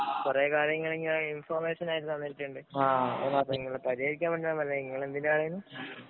കൊറേ കാര്യങ്ങള്‍ ഇങ്ങനെ ഇന്‍ഫോര്‍മേഷന്‍ ആയിട്ട് തന്നിട്ടുണ്ട്. നിങ്ങളത് പരിഹരിക്കാന്‍ വേണ്ടി ഞാന്‍ പറയുവാ നിങ്ങള്‍ എന്തിനാരുന്നു